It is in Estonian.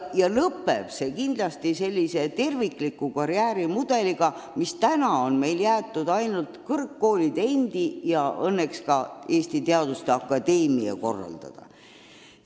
Lõpeb see kindlasti sellise tervikliku karjääriga, mille mudel on meil jäetud kõrgkoolide endi ja õnneks ka Eesti Teaduste Akadeemia kompetentsi.